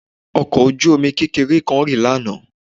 Ọkọ̀ ojú-omi kékeré kan rì lánàá